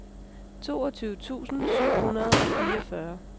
toogtyve tusind syv hundrede og fireogfyrre